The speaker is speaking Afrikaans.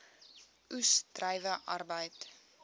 oes druiwe arbeid